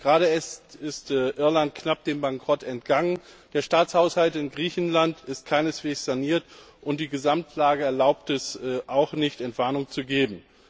Gerade erst ist Irland knapp dem Bankrott entgangen, der Staatshaushalt in Griechenland ist keineswegs saniert, und die Gesamtlage erlaubt es nicht, Entwarnung zu geben.